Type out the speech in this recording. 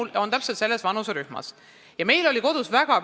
Mul on ka täpselt selles vanuserühmas laps ja meil oli kodus sellest juttu.